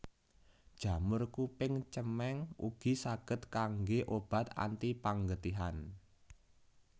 Jamur kuping cemeng ugi saged kanggé obat antipanggetihan